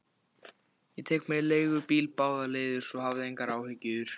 Ég tek mér leigubíl báðar leiðir, svo hafðu ekki áhyggjur.